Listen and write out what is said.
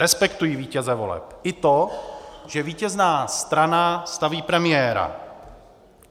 Respektuji vítěze voleb i to, že vítězná strana staví premiéra.